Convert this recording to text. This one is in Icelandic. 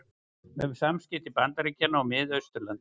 Um samskipti Bandaríkjanna og Mið-Austurlanda